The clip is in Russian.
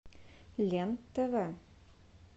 лен тв